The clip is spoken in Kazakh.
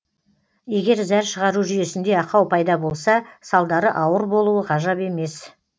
егер зәр шығару жүйесінде ақау пайда болса салдары ауыр болуы ғажап емес